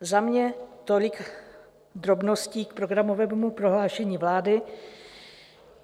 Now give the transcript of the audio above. Za mě tolik drobností k programovému prohlášení vlády.